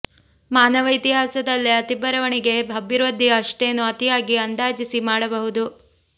ಮಾನವ ಇತಿಹಾಸದಲ್ಲೇ ಅತಿ ಬರವಣಿಗೆ ಅಭಿವೃದ್ಧಿ ಅಷ್ಟೇನೂ ಅತಿಯಾಗಿ ಅಂದಾಜಿಸಿ ಮಾಡಬಹುದು